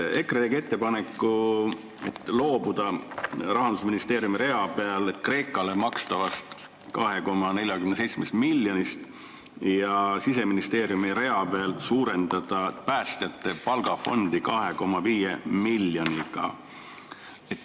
EKRE tegi ettepaneku loobuda Rahandusministeeriumi rea peal Kreekale makstavast 2,47 miljonist ja Siseministeeriumi rea peal suurendada päästjate palgafondi 2,5 miljoni võrra.